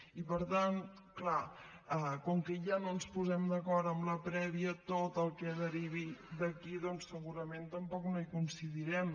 i per tant clar com que ja no ens posem d’acord amb la prèvia tot el que derivi d’aquí doncs segurament tampoc no hi coincidirem